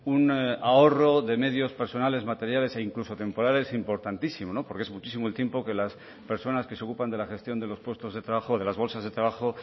un ahorro de medios personales materiales e incluso temporales importantísimo porque es muchísimo el tiempo que las personas que se ocupan de la gestión de los puestos de trabajo de las bolsas de trabajo